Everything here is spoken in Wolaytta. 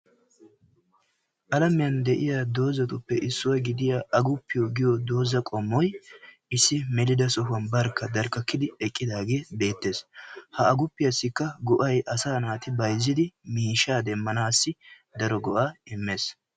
alamiyaan de'iyaa doozatuppe issuwaa gidiyaa agupiyaa giyo doozay qommoy issi melida sohuwan barkka eqqidaagee beettees. ha aguppiyaassikka go''ay asa naati bayzzidi miishsha demmanassi go''ees.